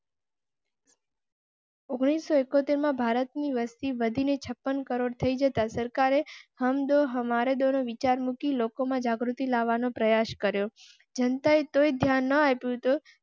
ઓગણીસો ઈકો તેર માં ભારતની વસ્તી વધી ને છપ્પન crore થઈ જતા સરકારે હમ દો હમારે ડો નો વિચાર મુકી લોકો માં જાગૃતિ લાવવા નો પ્રયાસ કર્યો જનતાએ તો ધ્યાન ન આપ્યું